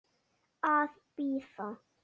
Að bíða.